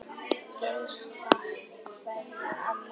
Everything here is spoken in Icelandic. HINSTA KVEÐJA Amma mín.